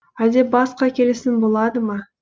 әлде басқа келісім болады ма